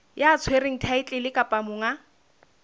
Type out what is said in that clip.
ya tshwereng thaetlele kapa monga